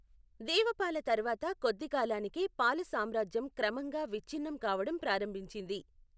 దేవపాల తర్వాత కొద్దికాలానికే పాల సామ్రాజ్యం క్రమంగా విచ్ఛిన్నం కావడం ప్రారంభించింది.